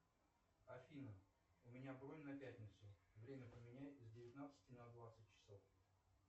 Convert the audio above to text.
афина у меня бронь на пятницу время поменяй с девятнадцати на двадцать часов